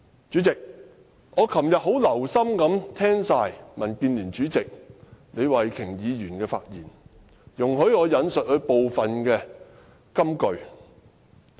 主席，我昨天很留心聽畢民建聯主席李慧琼議員的發言，容許我引述她部分金句。